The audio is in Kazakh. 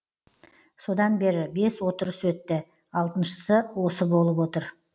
содан бері бес отырыс өтті алтыншысы осы болып отыр